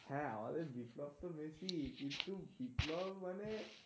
হ্যাঁ আমদের বিপ্লব তো মেসিই কিন্তু বিপ্লব মানে,